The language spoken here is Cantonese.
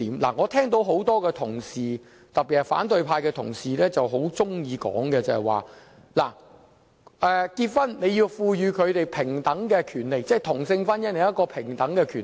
我聽到多位同事，特別是反對派同事，很喜歡說在婚姻上要賦予他們平等的權利，即同性婚姻要享有平等權利。